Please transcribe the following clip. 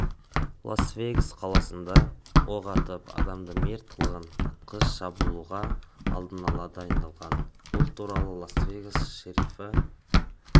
лас-вегас қаласында оқ атып адамды мерт қылған атқыш шабуылға алдын ала дайындалған бұл туралы лас-вегас шерифі